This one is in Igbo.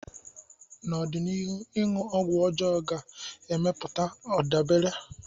N'ọdịnihu, ịṅụ ọgwụ ọjọọ ga-emepụta ndabere.